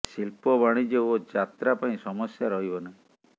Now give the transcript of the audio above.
ଶିଳ୍ପ ବାଣିଜ୍ୟ ଓ ଯାତ୍ରା ପାଇଁ ସମସ୍ୟା ରହିବ ନାହିଁ